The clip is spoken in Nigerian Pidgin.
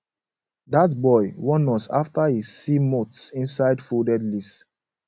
dat boy warn us after he see moths inside folded leaves